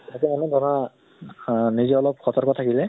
ইয়াতে অলপ ধৰা নিজে অলপ সতৰ্ক থাকিলে